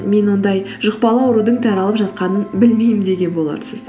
мен ондай жұқпалы аурудың таралып жатқанын білмеймін деген боларсыз